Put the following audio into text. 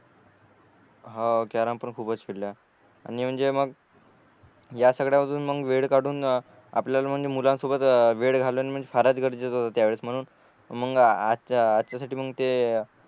हो कॅरम पण खूपच खेळल्या आणि म्हणजे मग या सगळ्या पासून मग वेळ काढून आपल्याला म्हणजे मुलांसोबत वेळ घालून फारस गरजेच होतो त्यावेळेस म्हणून मग याच्या याच्यासाठी मग ते